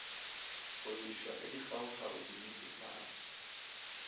go lefšwa ka dikgaokgao dinetefatšo